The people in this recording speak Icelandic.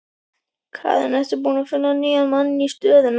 Karen: Ertu búinn að finna nýjan mann í stöðuna?